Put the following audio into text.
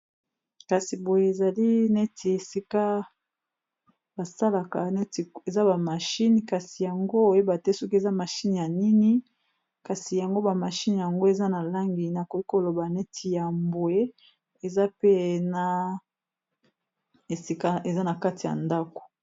Kasi boye ezali neti esika basalaka neti eza ba mashine kasi yango oyeba te soki eza mashine ya nini kasi yango ba mashine yango eza na langi nakoki koloba neti ya mbwe ezapena esika eza na kati ya ndako.